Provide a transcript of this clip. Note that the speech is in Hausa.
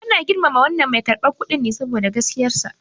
Ana girmama wannan mai karɓar kuɗin ne saboda gaskiyarsa.